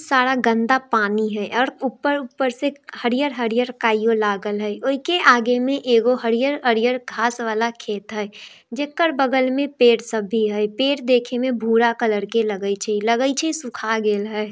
सारा गन्दा पानी हई और ऊपर ऊपर से हरियल हरियल काईयो लागल हई उइ के आगे में एगो हरियल हरियल घास वाला खेत हई जेकर बगल में पेड़ सब भी हई | पेड़ देखे में भूरा कलर के लगइ छै | लगाई छै सुखा गेल हई ।